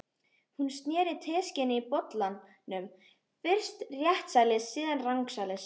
Hún sneri teskeiðinni í bollanum, fyrst réttsælis, síðan rangsælis.